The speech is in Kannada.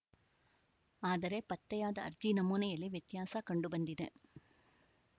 ಆದರೆ ಪತ್ತೆಯಾದ ಅರ್ಜಿ ನಮೂನೆಯಲ್ಲಿ ವ್ಯತ್ಯಾಸ ಕಂಡುಬಂದಿದೆ